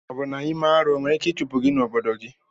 Obụ na ime arụ enwere ike ichụpụ gi na obodo gi.